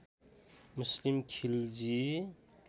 Muslim Khilji